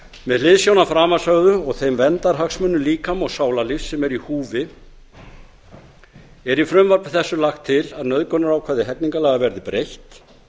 með hliðsjón af framansögðu og þeim verndarhagsmunum líkama og sálarlífs sem eru í húfi er í frumvarpi þessu lagt til að nauðgunarákvæði hegningarlaga verði breytt